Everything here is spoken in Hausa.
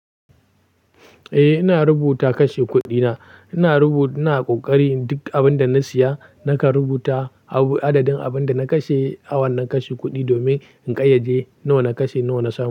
Eh, ina rubuta kashe kuɗina. Ina rubu-- ina ƙoƙari duk abin da na siya nakan rubuta abu adadin abin da na kashe, awon na kashe kuɗi domin in ƙayyade nawa na kashe, nawa na samu.